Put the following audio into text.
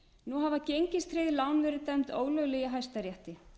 nú hafa gengistryggð lán verið dæmd ólögleg í hæstarétti